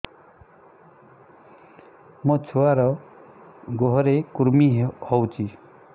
ମୋ ଛୁଆର୍ ଗୁହରେ କୁର୍ମି ହଉଚି